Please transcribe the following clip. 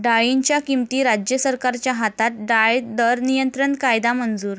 डाळींच्या किमती राज्य सरकारच्या हातात, डाळ दर नियंत्रण कायदा मंजूर